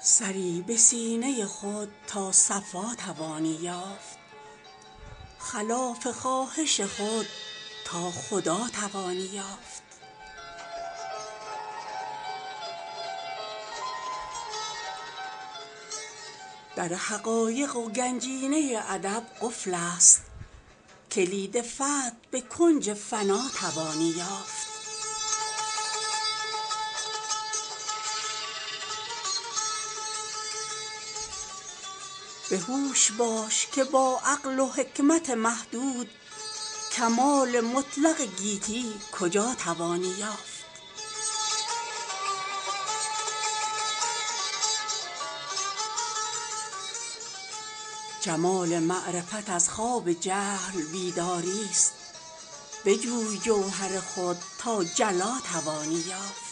سری به سینه خود تا صفا توانی یافت خلاف خواهش خود تا خدا توانی یافت در حقایق و گنجینه ادب قفل است کلید فتح به کنج فنا توانی یافت به هوش باش که با عقل و حکمت محدود کمال مطلق گیتی کجا توانی یافت چه دانشی که نه عرفان در او و نی تسلیم دری بزن که به دردت دوا توانی یافت اگر خدا طلبیدی و یافتی در خود امید هست که خود در خدا توانی یافت جمال معرفت از خواب جهل بیداریست بجوی جوهر خود تا جلا توانی یافت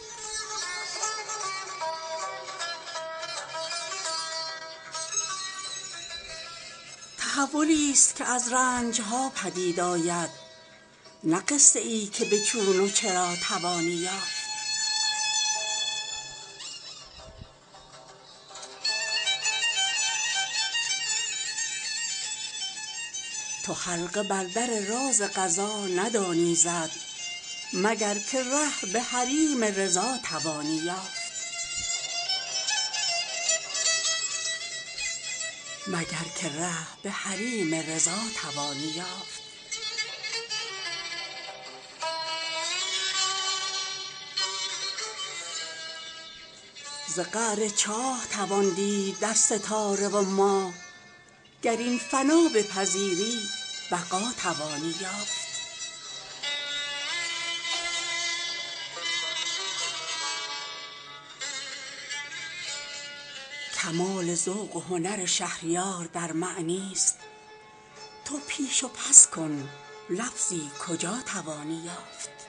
کی اتصال از این دستگاه زنگ زده به کارخانه راز قضا توانی یافت تحولی است که از رنج ها پدید آید نه قصه ای که به چون و چرا توانی یافت اگر به سر مشقات انبیا برسی مقام و منزلت اولیا توانی یافت تو حلقه بر در راز قضا ندانی زد مگر که ره به حریم رضا توانی یافت بجوش تا مس قلبت طلا کنی ور نه بکوش بیهده تا کیمیا توانی یافت ز قعر چاه توان دید در ستاره و ماه گر این فنا بپذیری بقا توانی یافت به روی عقل تو درهای معرفت بسته است کلید عشق به صندوق ما توانی یافت کمال ذوق و هنر شهریار در معنی است تو پیش و پس کن لفظی کجا توانی یافت